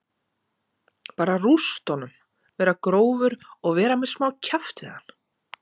Bara að rústa honum, vera grófur og vera með smá kjaft við hann